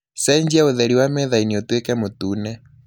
cejia ūtheri wa methainī ūtuīke mūtune